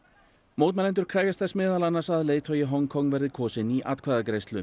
mótmælendur krefjast þess meðal annars að leiðtogi Hong Kong verði kosinn í atkvæðagreiðslu